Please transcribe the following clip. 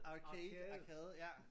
Arcade arkade ja